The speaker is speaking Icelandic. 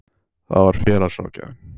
Það var félagsráðgjafinn.